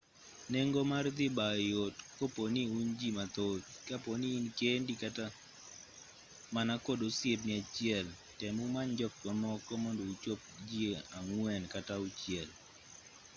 nengo mar dhi bayo yot koponi un ji mathoth kaponi in kendi kata mana kod osiepni achiel tem umany jok mamoko mondo uchop jii ang'wen kata auchiel